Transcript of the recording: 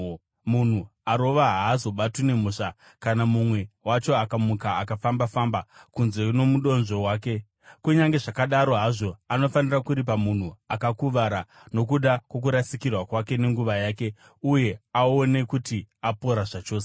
munhu arova haazobatwi nemhosva kana mumwe wacho akamuka akafamba-famba kunze nomudonzvo wake; kunyange zvakadaro hazvo, anofanira kuripa munhu akakuvara nokuda kwokurasikirwa kwake nenguva yake uye aone kuti apora zvachose.